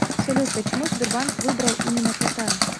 салют почему сбербанк выбрал именно кота